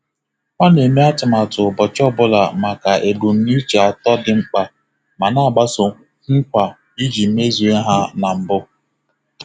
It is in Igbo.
Ọ na-eme atụmatụ ụbọchị ọ bụla maka ebumnuche atọ dị mkpa ma na-agbaso nkwa iji mezue ha na mbụ.